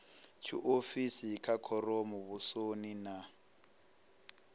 tshiofisi vha khoro muvhusoni na